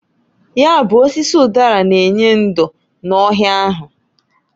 Ya bụ osisi ụdara n'enye ndo n'ohịa ahụ.